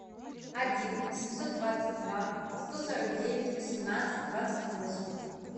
один семьсот двадцать два сто сорок девять восемнадцать двадцать восемь